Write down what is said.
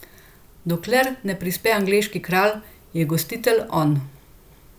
Dokler ne prispe angleški kralj, je gostitelj on.